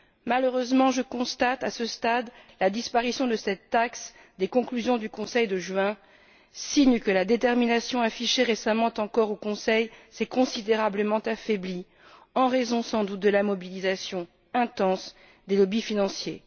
Malheureusement, je constate, à ce stade, la disparition de cette taxe des conclusions du Conseil de juin, signe que la détermination, affichée récemment encore au Conseil, s'est considérablement affaiblie, en raison, sans doute, de la mobilisation intense des lobbies financiers.